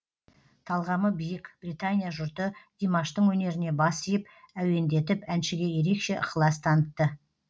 талғамы биік британия жұрты димаштың өнеріне бас иіп әуендетіп әншіге ерекше ықылас танытты